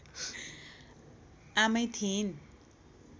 आमै थिइन्